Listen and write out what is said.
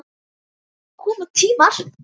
Koma tímar!